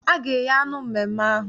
A ga-eghe anụ na mmemme ahụ.